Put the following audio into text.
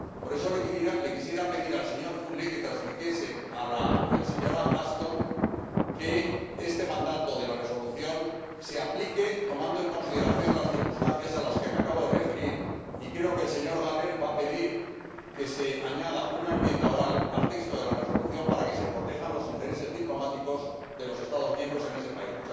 Por eso quisiera pedirle al señor Füle que transmita a la señora Ashton que este mandato de la resolución se aplique tomando en consideración las circunstancias a las que me acabo de referir, y creo que el señor Gahler va a pedir que se añada una enmienda oral al texto de la resolución para que se protejan los intereses diplomáticos de los Estados miembros en ese país.